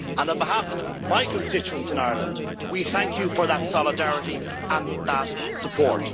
On the behalf of my constituents in Ireland we thank you for that solidarity and that support.